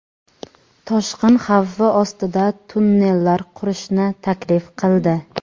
toshqin xavfi ostida tunnellar qurishni taklif qildi.